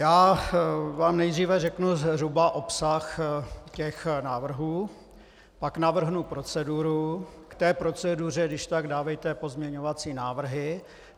Já vám nejdříve řeknu zhruba obsah těch návrhů, pak navrhnu proceduru, k té proceduře když tak dávejte pozměňovací návrhy.